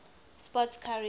sports car racing